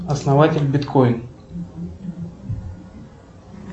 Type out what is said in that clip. основатель биткоин